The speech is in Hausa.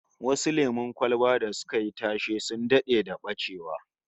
Some popular soft drinks went out of production, like Brahma Orange